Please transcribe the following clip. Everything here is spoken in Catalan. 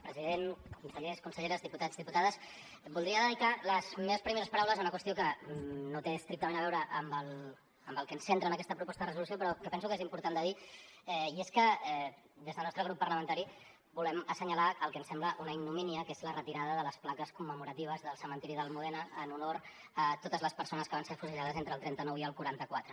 president consellers conselleres diputats diputades voldria dedicar les meves primeres paraules a una qüestió que no té estrictament a veure amb el que ens centra en aquesta proposta de resolució però penso que és important de dir i és que des del nostre grup parlamentari volem assenyalar el que ens sembla una ignomínia que és la retirada de les plaques commemoratives del cementiri de l’almudena en honor a totes les persones que van ser afusellades entre el trenta nou i el quaranta quatre